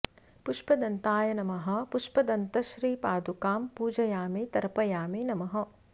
पुष्पदन्ताय नमः पुष्प दन्तश्री पादुकां पूजयामि तर्पयामि नमः